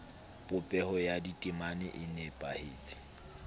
popeho ya ditemana e nepahetse